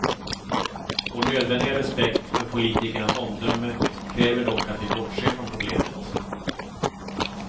Vår nödvändiga respekt för politikernas omdöme kräver dock att vi bortser från problemet.